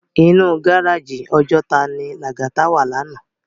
Inú gáráji Òjòtá ni Lagata wá làná